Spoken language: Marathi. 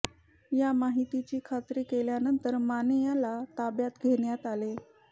या माहितीची खात्री केल्यानंतर माने याला ताब्यात घेण्यात आले